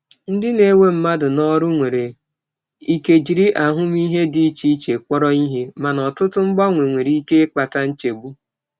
Ndị na-ewe mmadụ n'ọrụ nwere ike jiri ahụmịhe dị iche iche kpọrọ ihe, mana ọtụtụ mgbanwe nwere ike ịkpata nchegbu.